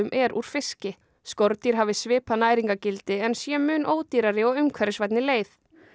er úr fiski skordýr hafi svipað næringargildi en séu mun ódýrari og umhverfisvænni leið